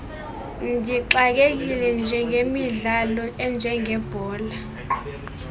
ndixakekile ngemidlalo enjengebhola